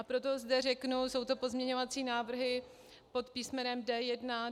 A proto zde řeknu, jsou to pozměňovací návrhy pod písm.